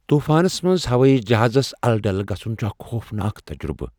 طوفانس منز ہوٲیی جہازس الہٕ ڈلہٕ گژھُن چُھ اكھ خوفناك تجرُبہٕ ۔